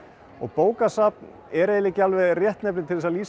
og bókasafn er ekki alveg réttnefni til þess að lýsa